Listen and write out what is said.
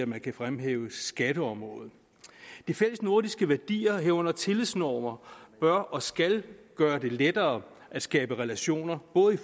man kan fremhæve skatteområdet de fællesnordiske værdier herunder tillidsnormer bør og skal gøre det lettere at skabe relationer både i